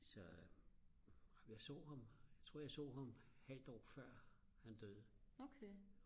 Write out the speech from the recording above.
så ej men jeg så ham et halvt år før han døde